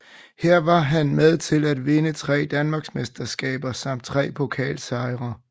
Her var han med til at vinde tre danmarksmesterskaber samt tre pokalsejre